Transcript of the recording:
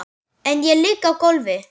Ég ligg á gólfi.